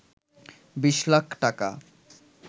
২০ লাখ টাকা